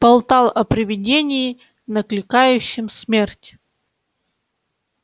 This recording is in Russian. болтал о привидении накликающем смерть